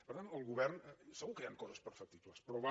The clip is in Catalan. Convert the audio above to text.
per tant el govern segur que hi han coses perfectibles però va